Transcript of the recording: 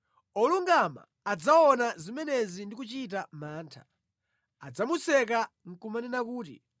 Olungama adzaona zimenezi ndi kuchita mantha; adzamuseka nʼkumanena kuti,